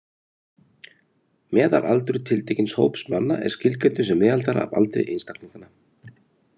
Meðalaldur tiltekins hóps manna er skilgreindur sem meðaltal af aldri einstaklinganna.